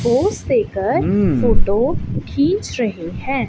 Pose देकर photo खींच रहे है।